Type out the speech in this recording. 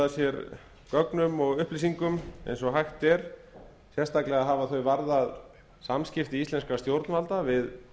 sér gögnum og upplýsingum eins og hægt er sérstaklega hafa þau varðað samskipti íslenskra stjórnvalda við